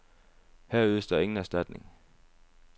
Her ydes der ingen erstatning.